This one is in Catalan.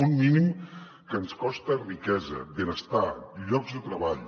un mínim que ens costa riquesa benestar llocs de treball